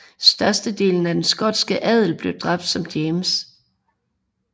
Størstedelen af den skotske adel blev dræbt som James